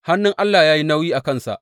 Hannun Allah ya yi nauyi a kansa.